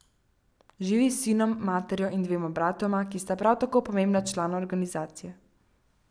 Živi s sinom, materjo in dvema bratoma, ki sta prav tako pomembna člana organizacije.